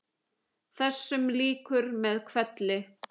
Þessum lýkur með hvelli.